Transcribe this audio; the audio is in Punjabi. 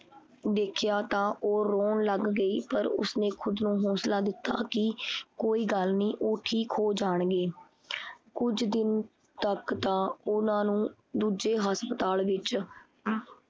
ਦੇਖਿਆ ਤਾਂ ਉਹ ਰੋਣ ਲੱਗ ਗਈ ਪਰ ਉਸਨੇ ਖੁਦ ਨੂੰ ਹੋਂਸਲਾ ਦਿੱਤਾ ਕੀ ਕੋਈ ਗੱਲ ਨੀ ਉਹ ਠੀਕ ਹੋ ਜਾਣਗੇ। ਕੁਝ ਦਿਨ ਤਕ ਤਾਂ ਉਹਨਾਂ ਨੂੰ ਦੂਜੇ ਹਸਪਤਾਲ ਵਿੱਚ